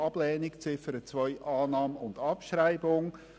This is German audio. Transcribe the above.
Ablehnung, Ziffer 2: Annahme und Abschreibung.